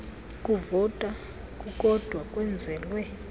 kuvota kukodwa kwenzelwe